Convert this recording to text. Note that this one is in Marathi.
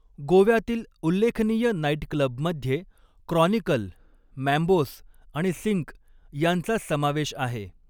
गोव्यातील उल्लेखनीय नाइटक्लबमध्ये क्रॉनिकल, मॅम्बोस आणि सिंक यांचा समावेश आहे.